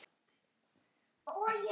Karl hefur stafinn átt.